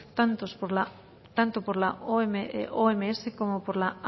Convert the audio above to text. tanto por la oms como por la